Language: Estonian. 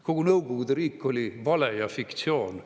Kogu Nõukogude riik oli vale ja fiktsioon.